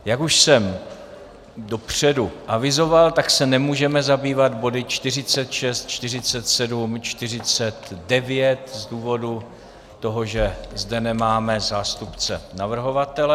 Jak už jsem dopředu avizoval, tak se nemůžeme zabývat body 46, 47, 49 z důvodu toho, že zde nemáme zástupce navrhovatele.